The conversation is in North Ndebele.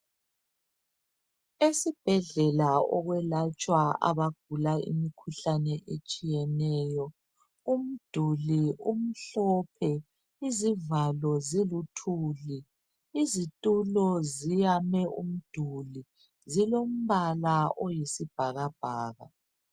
Esibhedlela okwelatshwa imikhuhlane etshiyeneyo. Umduli umhlophe, izivalo ziluthuli. Izitulo ziyame umduli, umbala oyisibhakabhaka.